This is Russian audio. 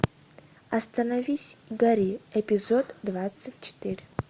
остановись и гори эпизод двадцать четыре